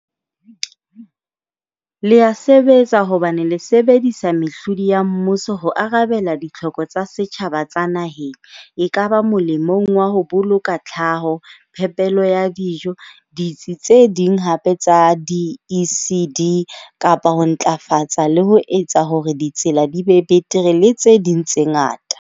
Le ya sebetsa hobane le sebedisa mehlodi ya mmuso ho arabela ditlhoko tsa setjhaba tsa naheng, ekaba molemong wa ho boloka tlhaho, phepelo ya dijo, ditsi tse ding hape tsa di-ECD, kapa ho ntlafatsa le ho etsa hore ditsela di be betere le tse ding tse ngata.